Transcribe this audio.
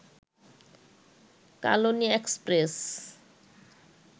Kalni express